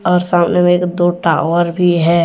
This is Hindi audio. और सामने में एक दो टावर भी है।